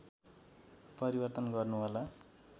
परिवर्तन गर्नु होला